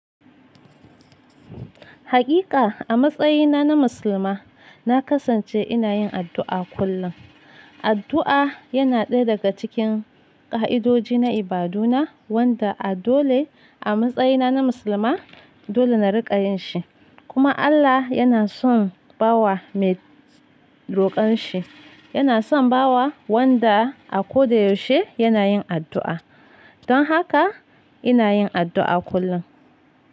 Hakika a matsayina na musulma, na kasance ina yin addu'a kullum. Addu'a yana ɗaya daga cikin ka'idoji na ibaduna wanda a dole a matsayina na musulma dole na rika yin shi. Kuma Allah yana son bawa mai rokon shi. Yana son bawa wanda a ko da yaushe yana yin addu'a. Don haka ina yin addu'a kullum.